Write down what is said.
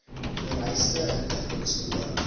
vereiste inligting spoedig